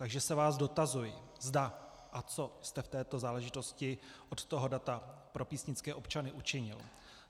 Takže se vás dotazuji, zda a co jste v této záležitosti od toho data pro písnické občany učinil.